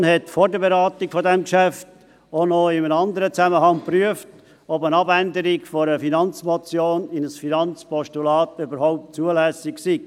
Die FiKo prüfte vor der Beratung dieses Geschäfts auch noch in einem anderen Zusammenhang, ob eine Abänderung einer Finanzmotion in ein Finanzpostulat überhaupt zulässig sei.